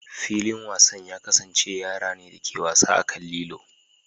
Filin wasan ya kasance yara ne da ke wasa a kan lilo.